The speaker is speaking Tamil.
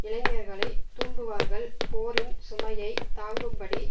இளைஞர்களைத் தூண்டுவார்கள் போரின் சுமையை தாங்கும் படி